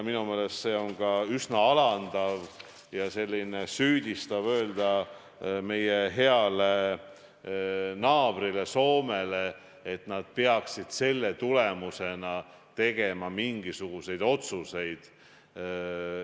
Minu meelest on ka üsna alandav ja süüdistav öelda meie heale naabrile Soomele, et nad peaksid selle tulemusena tegema mingisuguseid otsuseid.